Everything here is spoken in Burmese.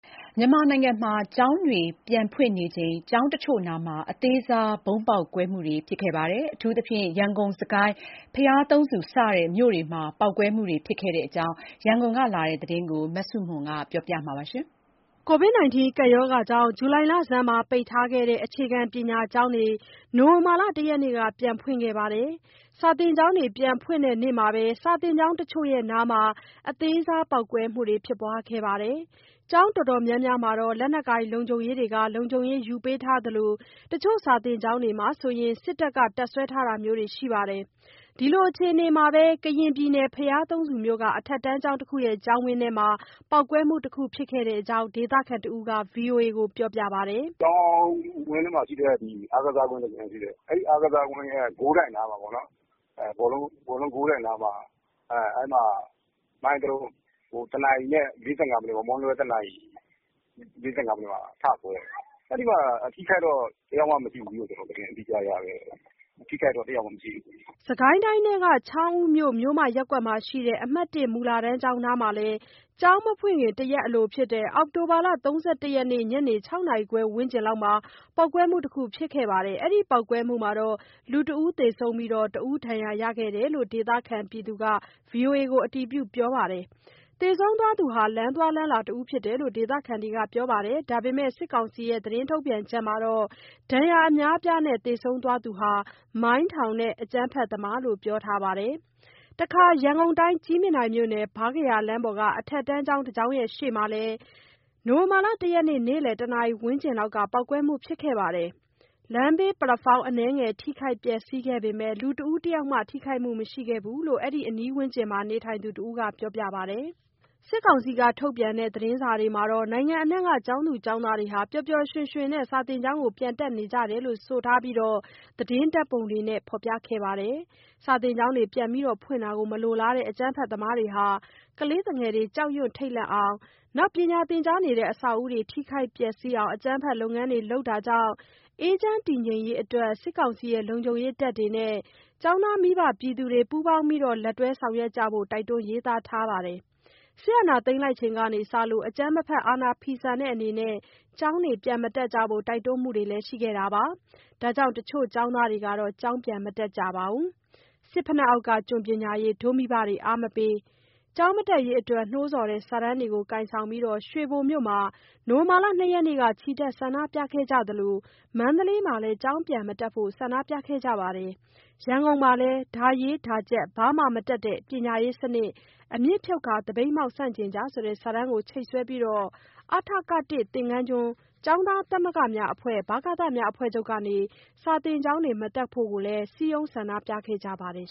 မြန်မာနိုင်ငံမှာ ကျောင်းတွေ ပြန်ဖွင့်နေချိန် ကျောင်းတချို့နားမှာ အသေးစား ဗုံးပေါက်ကွဲမှုတွေဖြစ်ခဲ့ပါတယ်။ ရန်ကုန်၊ စစ်ကိုင်း၊ ဘုရားသုံးဆူ စတဲ့မြို့တွေမှာ ပေါက်ကွဲမှုတွေဖြစ်ခဲ့တဲ့အကြောင်း ရန်ကုန်ကလာတဲ့သတင်းကို မဆုမွန်က ပြောပြပါမယ်။ ကိုဗစ်ကပ်ရောဂါကြောင့် ဇူလိုင်လဆန်းမှာ ပိတ်ထားခဲ့တဲ့ အခြေခံပညာကျောင်းတွေကို နိုဝင်ဘာလ ၁ ရက်နေ့က ပြန်ဖွင့်ခဲ့ပါတယ်။ ကျောင်းတွေ ပြန်ဖွင့်တဲ့နေ့မှာပဲ ကျောင်းတချို့နားမှာ အသေးစား ပေါက်ကွဲမှုတွေ ဖြစ်ခဲ့ပါတယ်။ ကျောင်းတော်တော်များများမှာ လက်နက်ကိုင်လုံခြုံရေးတွေက လုံခြုံရေးယူပေးနေသလို တချို့ကျောင်းတွေမှာဆို စစ်သားတွေ ဆက်လက် တပ်စွဲထားတာမျိုးလည်းရှိပါတယ်။ ဒီလိုအခြေအနေမှာပဲ ကရင်ပြည်နယ် ဘုရားသုံးဆူမြို့က အထက်တန်းကျောင်းတစ်ခုရဲ့ ကျောင်းဝင်းထဲမှာ မနေ့က ဗုံးပေါက်ကွဲမှုတစ်ခု ဖြစ်ခဲ့တဲ့အကြောင်း ဒေသခံတစ်ဦးက ဗွီအိုအေ ကို ခုလိုပြောပြပါတယ်။ “ကျောင်းဝင်းထဲမှာ အအားကစားကွင်း တကွင်း ရှိတယ်။ အဲ့ဒီ အားကစားကွင်းရဲ့ ဂိုးတိုင်နားမှာပေါ့နော်။ အဲဒီ ဘောလုံး ဂိုးတိုင်နားမှာ မိုင်းတလုံး တနာရီနဲ့ ၄၅ မိနစ်ပေါ့၊ မွန်းလွဲ တနာရီနဲ့ ၄၅ မိနစ်မှာ ထကွဲတယ်။ အဲဒီမှာ အထိအခိုက်တော့ တစ်ယောက်မှ မရှိဘူးလို့ ကျွန်တော် သတင်းကြားတယ်။ အထိအခိုက်မရှိဘူး။” စစ်ကိုင်းတိုင်းထဲက ချောင်းဦးမြို့ မြို့မ ရပ်ကွက်မှာရှိတဲ့ အမှတ် ၁ မူလတန်းကျောင်း နားမှာလည်း ကျောင်းမဖွင့်မီ တစ်ရက်အလိုဖြစ်တဲ့ အောက်တိုဘာ ၃၁ ရက်နေ့ ညနေ ၆ နာရီခွဲ ဝန်းကျင်လောက်က ပေါက်ကွဲမှု တစ်ခု ဖြစ်ခဲ့လို့ လူတဦးသေဆုံးပြီး တယောက် ဒဏ်ရာ ရတယ်လို့ ဒေသခံ တဦးက ဗွီအိုအေကို အတည်ပြုပြောပါတယ်။ သေဆုံးသူဟာ လမ်းသွားလမ်းလာဖြစ်တယ်လို့ ဒေသခံကပြောပါတယ်။ ဒါပေမဲ့ စစ်ကောင်စီသတင်းမှာတော့ ဒဏ်ရာ အများအပြားနဲ့ သေဆုံးသူဟာ မိုင်းထောင်တဲ့ အကြမ်းဖက်သမားလို့ ပြောထားပါတယ်။ တခါ ရန်ကုန်တိုင်း ကြည်မြင်တိုင်မြို့နယ် ဗားကရာလမ်းပေါ်က အထက်တန်းကျောင်း တကျောင်းရှေ့မှာလဲ မနေ့က နေ့လယ် ၁ နာရီ ဝန်းကျင်လောက်က ပေါက်ကွဲမှုဖြစ်ခဲ့ပါတယ်။ လမ်းဘေး ပလက်ဖောင်း အနည်းငယ် ထိခိုက်ပျက်စီးခဲ့ပေမယ့် လူတဦး တယောက်မှာ ထိခိုက်မှု မရှိခဲ့ဘူးလို့ အဲဒီ အနီးဝန်းကျင်မှာ နေထိုင်သူ တဦးက ပြောပါတယ်။ စစ်ကောင်စီထုတ်ပြန်တဲ့ သတင်းစာတွေမှာတော့နိုင်ငံအနှံ့က ကျောင်းသူ၊ကျောင်းသားတွေ ပျော်ပျော်ရွှင်ရွှင် ကျောင်းပြန်တက်နေကြတယ်လို့ဆိုပြီး ဓါတ်ပုံတွေနဲ့ ဖော်ပြခဲ့ပါတယ်။ ကျောင်းပြန်လည် ဖွင့်လှစ်တာကို မလိုလားတဲ့ အကြမ်းဖက်သမားတွေက ကလေးသူငယ်တွေ ကြောက်ရွံ့ထိတ်လန့်အောင်နဲ့ ပညာသင်ကြားတဲ့ အဆောက်အအုံတွေ ထိခိုက်ပျက်စီးအောင် အကြမ်းဖက် လုပ်ငန်းတွေ လုပ်လာတာကြောင့် အေးချမ်းတည်ငြိမ်ရေး အတွက် စစ်ကောင်စီရဲ့ လုံခြုံရေးတပ်တွေနဲ့ ကျောင်းသား မိဘ ပြည်သူတွေက ပူးပေါင်းဆောင်ရွက်ကြဖို့ တိုက်တွန်းရေးသားထားပါတယ်။ စစ်အာဏာသိမ်းထားချိန် အကြမ်းမဖက် အာဏာဖီဆန်တဲ့ အနေနဲ့ ကျောင်းတွေ ပြန်မတက်ကြဖို့ တိုက်တွန်းမှုတွေလည်း ရှိနေပါတယ်။ ဒါကြောင့် တချို့ကျောင်းသားတွေကတော့ ကျောင်းပြန်မတက်ကြပါဘူး။ ‘စစ်ဖိနပ်အောက်က ကျွန်ပညာရေး ဒို့မိဘတွေ အားမပေး’ စတဲ့ ကျောင်းမတက်ရေးအတွက် နှိုးဆော်တဲ့ စာတန်းတွေကို ကိုင်ဆောင်ပြီး ရွှေဘိုမြို့မှာ ဒီနေ့ ချီတက် ဆန္ဒပြကြသလို မန္တလေးမှာလည်း ကျောင်းပြန်မတက်ဘို့ ဆန္ဒပြမှုတွေ ရှိခဲ့ပါတယ်။ ရန်ကုန်မှာလည်း "ဒါရေး ဒါကျက် ဘာမှ မတတ်မဲ့ ပညာရေးစနစ် အမြစ်ဖြုတ်ကာ သပိတ်မှောက် ဆန်ကျင့်ကြ" ဆိုတဲ့ စာတန်း ချိတ်ဆွဲပြီး အ.ထ.က (၁) သင်္ဃန်းကျွန်းကျောင်းသားများ သမဂ္ဂ(ဗကသများအဖွဲ့ချုပ်) က ကျောင်းမတက်ဖို့ စည်းရုံးဆန္ဒပြခဲ့ကြပါတယ်